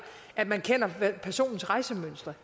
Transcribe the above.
at man kender personens rejsemønster